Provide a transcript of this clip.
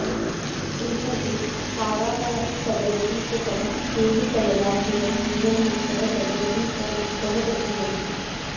रिपुः कारागारं कलयति च तं केलिकलया चिरं जीवन्मुक्तः प्रभवति स भक्तः प्रतिजनुः